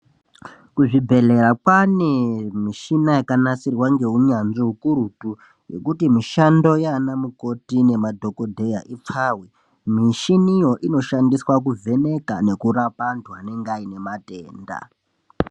Kuzvibhedhleya kwaane mishina yakanasirwa ngeunyanzvi ukurutu yekuti mishando yaana mukoti nemadhokodheya ipfawe mishiniyo inoshandiswa kuvheneka nekurape antu anenga aine matenda